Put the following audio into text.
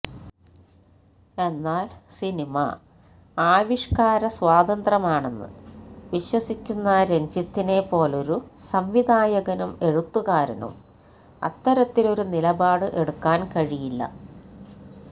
എന്നാല് സിനിമ ആവിഷ്കാര സ്വാതന്ത്രമാണെന്ന് വിശ്വസിയ്ക്കുന്ന രഞ്ജിത്തിനെ പൊലൊരു സംവിധായകനും എഴുത്തുകാരനും അത്തരത്തിലൊരു നിലപാട് എടുക്കാന് കഴിയില്ല